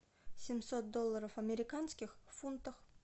семьсот долларов американских в фунтах